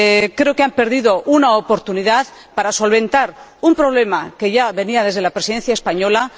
Creo que han perdido una oportunidad para solventar un problema que se arrastra desde la Presidencia española.